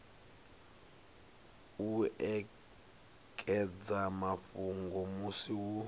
u ekedza mafhungo musi hu